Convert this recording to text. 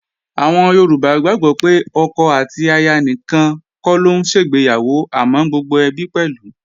Àwọn Yorùbá gbàgbó pé ọkọ àti aya nìkan kọ́ ló ń ṣègbéyàwó àmọ́ gbogbo ẹbí pẹ̀lú